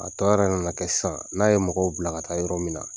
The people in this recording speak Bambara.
A tɔ yɛrɛ nana kɛ sisan n'a ye mɔgɔw bila ka taa yɔrɔ min na